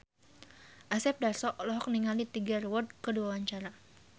Asep Darso olohok ningali Tiger Wood keur diwawancara